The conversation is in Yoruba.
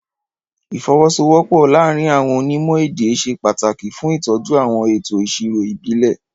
Ìfọwọ́sowọ́pọ̀ láàárín àwọn onímọ̀ èdè ṣe pàtàkì fún ìtọ́jú àwọn ètò ìṣirò ìbílẹ̀.